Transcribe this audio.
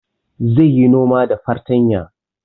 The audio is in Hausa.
Zai yi noma da fartanya